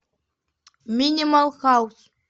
минимал хаус